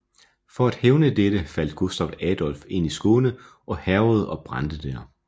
For at hævne dette faldt Gustaf Adolf ind i Skåne og hærgede og brændte der